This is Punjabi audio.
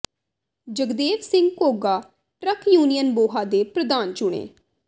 ਜਗਦੇਵ ਸਿੰਘ ਘੋਗਾ ਟਰੱਕ ਯੂਨੀਅਨ ਬੋਹਾ ਦੇ ਪ੍ਰਧਾਨ ਚੁਣੇ